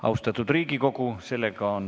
Austatud Riigikogu!